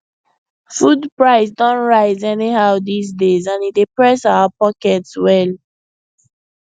food price don rise anyhow these days and e dey press our pocket well